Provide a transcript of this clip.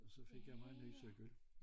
Og så fik jeg mig en ny cykel